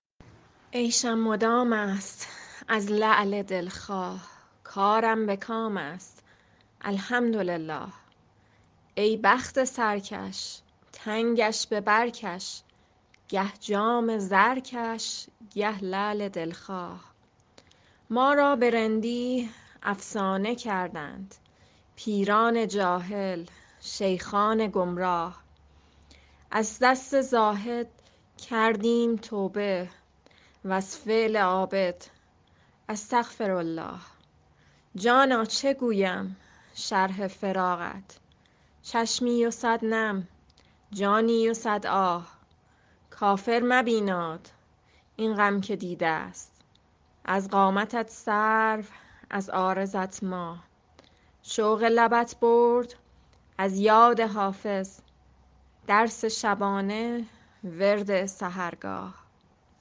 عیشم مدام است از لعل دل خواه کارم به کام است الحمدلله ای بخت سرکش تنگش به بر کش گه جام زرکش گه لعل دل خواه ما را به رندی افسانه کردند پیران جاهل شیخان گمراه از دست زاهد کردیم توبه و از فعل عابد استغفرالله جانا چه گویم شرح فراقت چشمی و صد نم جانی و صد آه کافر مبیناد این غم که دیده ست از قامتت سرو از عارضت ماه شوق لبت برد از یاد حافظ درس شبانه ورد سحرگاه